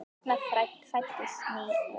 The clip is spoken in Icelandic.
Þarna fæddist ný von.